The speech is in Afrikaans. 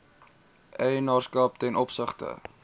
eienaarskap ten opsigte